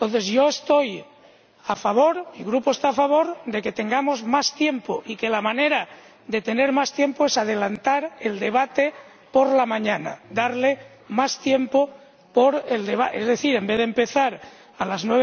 Yo estoy a favor, mi Grupo está a favor, de que tengamos más tiempo, y la manera de tener más tiempo es adelantar el debate por la mañana, darle más tiempo, es decir, en vez de empezar a las